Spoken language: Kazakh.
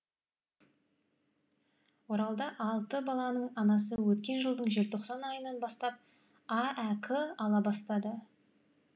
оралда алты баланың анасы өткен жылдың желтоқсан айынан бастап аәк ала бастады